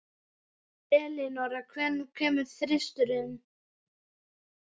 Elínora, hvenær kemur þristurinn?